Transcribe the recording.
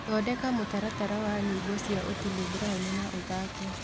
thondeka mũtaratara wa nyĩmbo cĩa otile brown na ũthake